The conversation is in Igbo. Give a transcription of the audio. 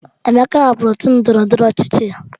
Emeka hapụrụ otu ndọrọndọrọ ọchịchị ya.